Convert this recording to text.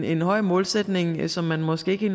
en høj målsætning som man måske ikke